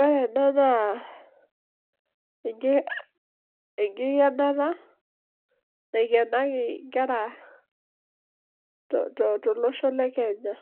Ore ena naa enkikenata, naikenaki nkera tolosho le Kenya,